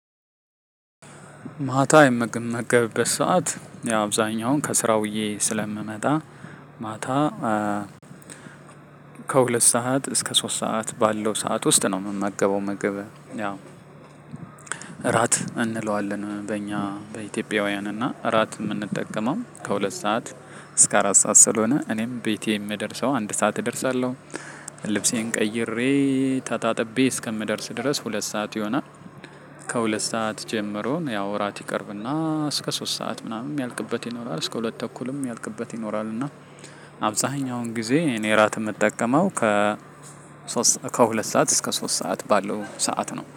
ማታ የምመገበት ሰዓት ያው አብዛኛውን ከስራ ውዬ ስለምመጣ ማታ። ከሁለት ሰዓት እስከ ሶስት ሰዓት ባለው ሰዓት ውስጥ ነው የምመገበው ምግብን ያው። እራት እንለዋለን በእኛ በኢትዮጵያውያን እና እራት የምንጠቀመው ከሁለት ሰዓት እስከ አራት ሰዓት ስለሆነ እኔም ቤቴ የምደርሰው አንድ ሰዓት እደርሳለሁ። ልብሴን ቀይሬ ታጣጥቤ እስከምደርስ ድረስ ሁለት ሰዓት ይሆናል። ከሁለት ሰዓት ጀምሮ ያው እራት ይቀርብና እስከ ሶስት ሰዓት ምናምን የሚያልቅበት ይኖራል እስከ ሁለት ተኩልም የሚያልቅበት ይኖራል። እና አብዛኛውን ጊዜ እኔ እራት የምጠቀመው ከ ከሁለት ሰዓት እስከ ሶስት ሰዓት ባለው ሰዓት ነው።